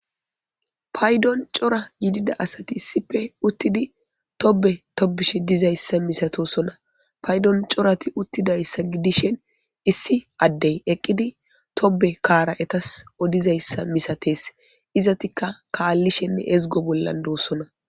Paydon cora gidida asati issife uttidi tobe tobish dizayssa misatosona paydon corati uttidayssa gidishen issi addey eqqidi tobe kaara etas odizayssa misates izatika kaallishenne ezgo bollan doossona.